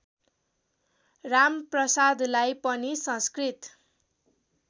रामप्रसादलाई पनि संस्कृत